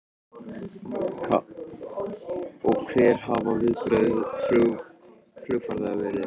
Karen: Og hver hafa viðbrögð flugfarþega verið?